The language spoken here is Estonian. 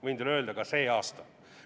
Võin teile öelda, ka see aasta.